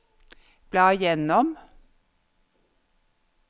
bla gjennom